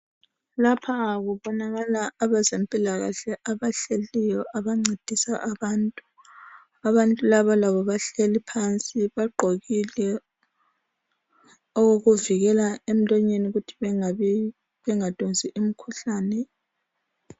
Lapha kubonakala abazemphilakahle abahleliyo abancedisa abantu. Abantu laba labo bahleli phansi, bagqokile okokuvikela emlonyeni ukuthi bengadonsi imikhuhlane.